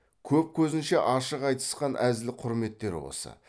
көп көзінше ашық айтысқан әзіл құрметтері осы